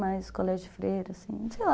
Mais colégio de freira, assim, sei lá...